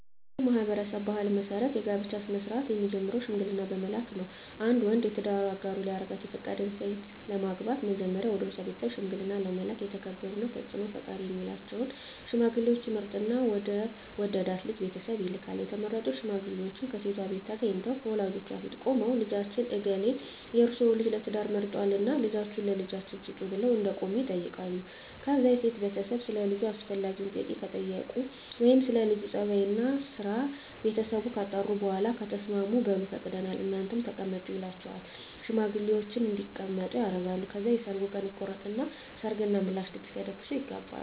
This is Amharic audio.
በኔ ማህበረሰብ ባህል መሰረት የጋብቻ ስነ-ስርአት የሚጀምረው ሽምግልና በመላክ ነው። አንድ ወንድ የትዳር አጋሩ ሊያደርጋት የፈቀዳትን ሴት ለማግባት መጀመሪያ ወደሷ ቤተሰብ ሽምግልና ለመላክ የተከበሩና ተጽኖ ፈጣሪ ሚላቸውን ሽማግሌወች ይመርጥና ወደ ወደዳት ልጅ ቤተሰብ ይልካል፣ የተመረጡት ሽማግሌወችም ከሴቷቤት ተገንተው ከወላጆቿ ፊት ቁመው ልጃችን እገሌ የርሰወን ልጅ ለትዳር መርጧልና ልጃችሁን ለልጃችን ስጡን ብለው እንደቆሙ ይጠይቃሉ ከዛ የሴቷ ቤተሰብ ሰለ ልጁ አስፈላጊውን ጥያቄ ከጠየቁ ወይም ስለ ለጁ ጸባይ፣ ስራና ቤተሰቡ ካጣሩ በኋላ ከተስማሙ በሉ ፈቅደናል እናንተም ተቀመጡ ይሏቸውና ሽማግሌወችን እንዲቀመጡ ያደርጋሉ። ከዛ የሰርጉ ቀን ይቆረጥና የሰርግ እና የምላሽ ድግስ ተደግሶ ይጋባሉ።